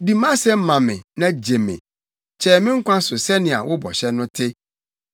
Di mʼasɛm ma me na gye me; kyɛe me nkwa so sɛnea wo bɔhyɛ no te.